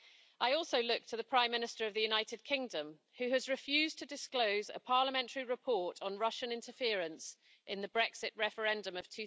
I also look to the Prime Minister of the United Kingdom who has refused to disclose a parliamentary report on Russian interference in the Brexit referendum of